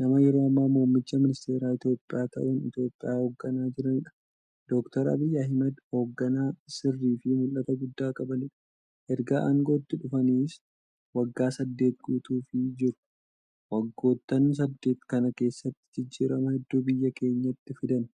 nama yeroo ammaa muummicha ministeeraa Itiyoophiyaa ta'uun Itiyoophiyaa hoogganaa jiraniidha. Doctor Abiy Ahmad hoogganaa sirriifi mul'ata guddaa qabaniidha. Ergaa aangootti dhufaniis waggaa saddeet guutuuf jiru. Waggoottan saddeet kana keessattis jijjiirama hedduu biyya keenyatti fidan.